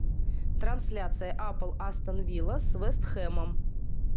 трансляция апл астон вилла с вест хэмом